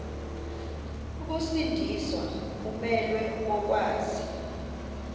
ukusindiswa umelwe kokwazi